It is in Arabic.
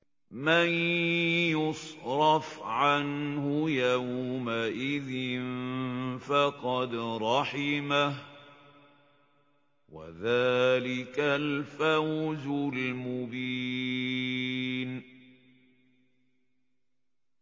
مَّن يُصْرَفْ عَنْهُ يَوْمَئِذٍ فَقَدْ رَحِمَهُ ۚ وَذَٰلِكَ الْفَوْزُ الْمُبِينُ